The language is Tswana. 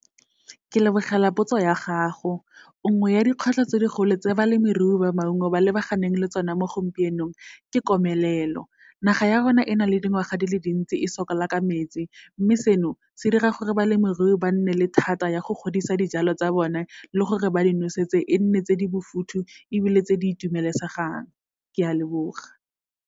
Ke lebogela potso ya gago, nngwe ya dikgwetlho tse di golo tse balemirui ba maungo ba lebaganeng le tsona mo gompienong, ke komelelo. Naga ya rona e na le dingwaga di le dintsi e sokola ka metsi, mme seno, se dira gore balemirui ba nne le thata ya go godisa dijalo tsa bone, le gore ba di nosetse e nne tse di mofuthu ebile tse di itumelesegang, ke a leboga.